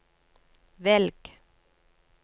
velg